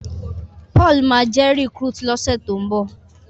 Paul má jé recruit lo ṣe to'n nbọ